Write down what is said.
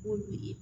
Olu degi